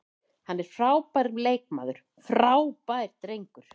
Hann er frábær leikmaður, frábær drengur.